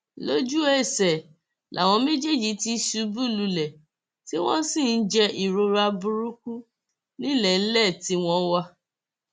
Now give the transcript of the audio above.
lójúẹsẹ làwọn méjèèjì ti ṣubú lulẹ tí wọn sì ń jẹ ìrora burúkú nílẹẹlẹ tí wọn wà